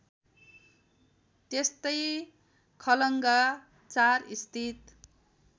त्यस्तै खलङ्गा ४ स्थित